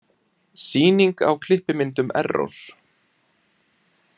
Sýning á klippimyndum Errós